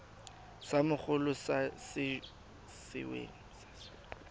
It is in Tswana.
sa mogolo sa se weng